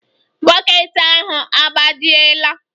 Bọket ahụ agbajiela